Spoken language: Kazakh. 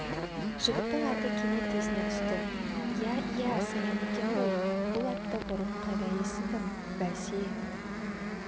жігіттің аты кенет есіне түсті иә иә саян екен ғой бұл атты бұрын қайда естідім бәсе